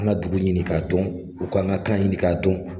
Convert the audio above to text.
An ka dugu ɲini ka dɔn, u k'an ka kan ɲinin ka dɔn.